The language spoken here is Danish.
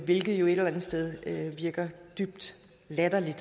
hvilket jo et eller andet sted virker dybt latterligt